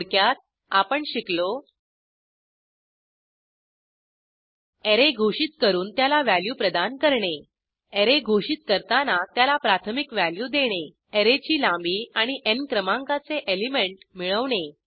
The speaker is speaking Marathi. थोडक्यात आपण शिकलो अॅरे घोषित करून त्याला व्हॅल्यू प्रदान करणे अॅरे घोषित करताना त्याला प्राथमिक व्हॅल्यू देणे अॅरेची लांबी आणि न् क्रमांकाचे एलिमेंट मिळवणे